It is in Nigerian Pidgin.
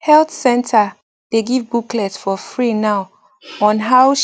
health center dey give booklet for free now on how um